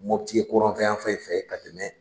Mɔputi ye kɔrɔnkanyan fan in fɛ ka tɛmɛ